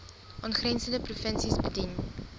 aangrensende provinsies bedien